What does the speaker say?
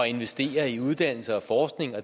investere i uddannelse og forskning